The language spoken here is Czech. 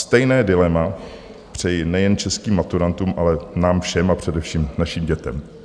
Stejné dilema přeji nejen českým maturantům, ale nám všem a především našim dětem.